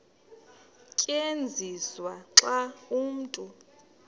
tyenziswa xa umntu